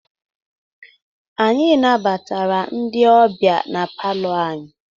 Anyị nabatara ndị ọbịa na palọ anyị.